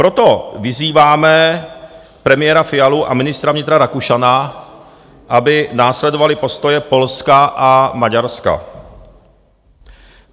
Proto vyzýváme premiéra Fialu a ministra vnitra Rakušana, aby následovali postoje Polska a Maďarska.